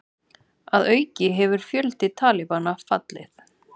Að auki hefur fjöldi Talibana fallið